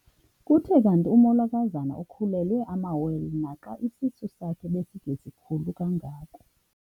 Kuthe kanti umolokazana ukhulelwe amawele naxa isisu sakhe besingesikhulu kangako.